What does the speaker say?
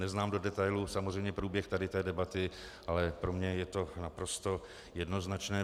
Neznám do detailů samozřejmě průběh tady té debaty, ale pro mě je to naprosto jednoznačné.